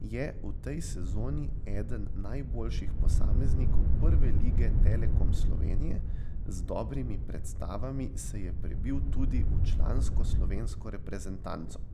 je v tej sezoni eden najboljših posameznikov Prve lige Telekom Slovenije, z dobrimi predstavami se je prebil tudi v člansko slovensko reprezentanco.